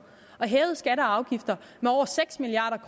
og hævet skatter og afgifter med over seks milliard